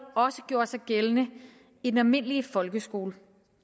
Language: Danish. også gjorde sig gældende i den almindelige folkeskole